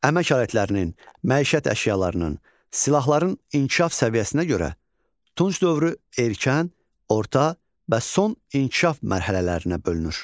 Əmək alətlərinin, məişət əşyalarının, silahların inkişaf səviyyəsinə görə Tunc dövrü erkən, orta və son inkişaf mərhələlərinə bölünür.